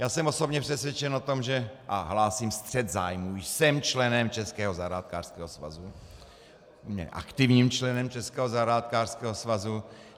Já jsem osobně přesvědčen o tom, že... a hlásím střet zájmů, jsem členem Českého zahrádkářského svazu, aktivním členem Českého zahrádkářského svazu.